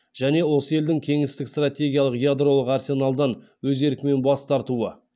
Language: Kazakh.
және осы елдің кеңестік стратегиялық ядролық арсеналдан өз еркімен бас тартуы